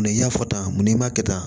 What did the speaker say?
Mɛ i y'a fɔ tan mun n'i m'a kɛ tan